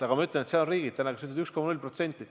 Aga ma ütlen, et seal on täna riigid, kus on 1,0%.